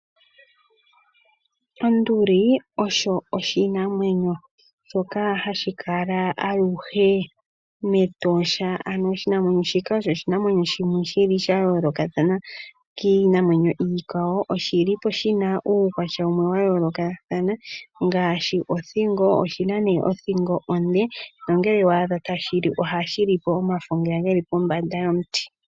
Onduli osho oshinamwenyo shoka hashi kala aluhe metosha. Ano oshinamwenyo shika osho oshinamwenyo shono shili sha yoolokathana kiinamwenyo iikwawo. Oshilipo shina uukwatya wumwe ya yoolokathana ngaashi othingo. Oshima othingo onde nongelw wa adha tashili ohashiliko omafo ngeya geli pombanda yomuti.